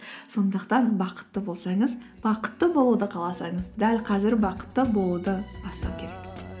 сондықтан бақытты болсаңыз бақытты болуды қаласаңыз дәл қазір бақытты болуды бастау керек